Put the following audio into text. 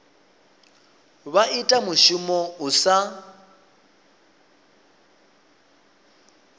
vha ita mushumo u sa